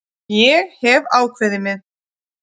Ég hef ákveðið mig.